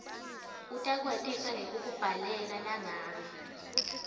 utawukwatisa ngekukubhalela nangabe